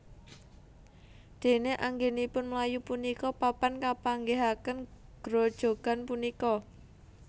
Déné anggènipun mlayu punika papan kapanggihaken grojogan punika